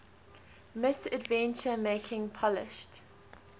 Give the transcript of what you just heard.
misadventure making polished